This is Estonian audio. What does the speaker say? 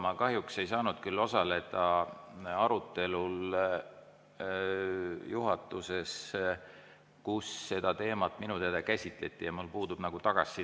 Ma kahjuks ei saanud osaleda arutelul juhatuses, kus seda teemat minu teada käsitleti, ja mul puudub tagasiside.